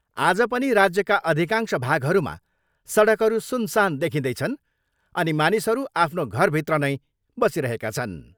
आज पनि राज्यका अधिकांश भागहरूमा सडकहरू सुनसान देखिँदैछन् अनि मानिसहरू आफ्नो घरभित्र नै बसिरहेका छन्।